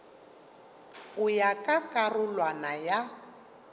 go ya ka karolwana ya